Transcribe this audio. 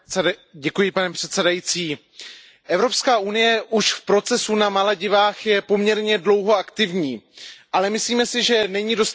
Pane předsedající, Evropská unie už v procesu na Maledivách je poměrně dlouho aktivní, ale myslíme si, že není dostatečně.